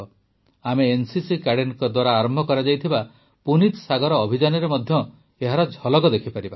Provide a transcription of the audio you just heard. ଆମେ ଏନସିସି କ୍ୟାଡେଟଙ୍କ ଦ୍ୱାରା ଆରମ୍ଭ କରାଯାଇଥିବା ପୁନୀତ ସାଗର ଅଭିଯାନରେ ମଧ୍ୟ ଏହାର ଝଲକ ଦେଖିପାରିବା